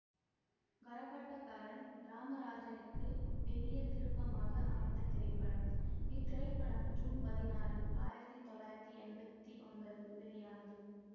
கரகாட்டக்காரன் ராமராஜனுக்கு பெரிய திருப்பமாக அமைந்த திரைப்படம் இத்திரைப்படம் ஜூன் பதினாறு ஆயிரத்தி தொள்ளாயிரத்தி எம்பத்தி ஒன்பதில் வெளியானது